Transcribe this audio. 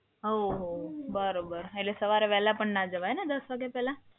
ઓહ હો, બરોબર. એટલે સવારે વહેલા પણ ના જવાય ને દસ વાગ્યા પહેલા?